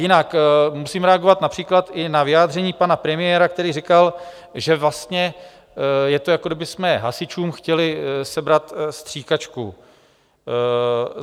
Jinak, musíme reagovat například i na vyjádření pana premiéra, který říkal, že vlastně je to, jako kdybychom hasičům chtěli sebrat stříkačku.